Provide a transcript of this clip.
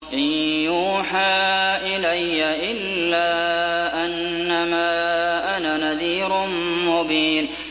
إِن يُوحَىٰ إِلَيَّ إِلَّا أَنَّمَا أَنَا نَذِيرٌ مُّبِينٌ